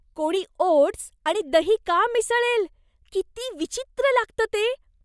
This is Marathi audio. कोणी ओट्स आणि दही का मिसळेल? किती विचित्र लागतं ते.